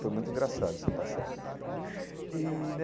Foi muito engraçado essa passagem.